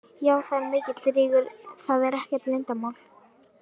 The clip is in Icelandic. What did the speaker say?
Já það er mikill rígur, það er ekkert leyndarmál.